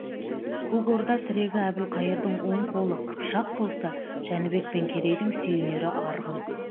көк орда тірегі әбілқайырдың оң қолы қыпшақ болса жәнібек пен керейдің сүйенері арғын